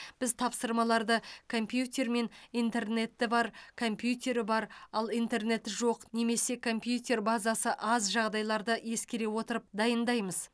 біз тапсырмаларды компьютер мен интернеті бар компьютері бар ал интернеті жоқ немесе компьютер базасы аз жағдайларды ескере отырып дайындаймыз